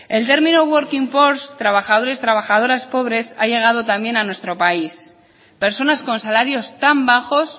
el término working poors trabajadores trabajadoras pobres ha llegado también a nuestro país personas con salarios tan bajos